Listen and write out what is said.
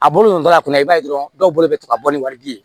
A bolo ninnu da kunna i b'a ye dɔrɔn dɔw bolo bɛ to ka bɔ ni wari di ye